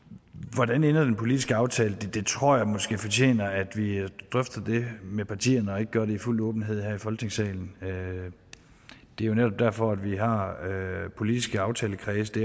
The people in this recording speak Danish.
hvordan ender den politiske aftale det tror jeg måske fortjener at vi drøfter det med partierne og ikke gør det i fuld åbenhed her i folketingssalen det er jo netop derfor vi har politiske aftalekredse